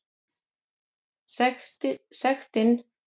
Sektin við því nemur rúmri sex og hálfri milljón króna.